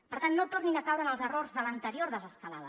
per tant no tornin a caure en els errors de l’anterior desescalada